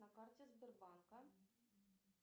на карте сбербанка